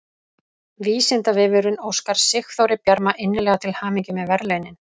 Vísindavefurinn óskar Sigþóri Bjarma innilega til hamingju með verðlaunin!